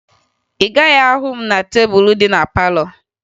Ị gaghị ahụ m n'elu tebulu dị na palọ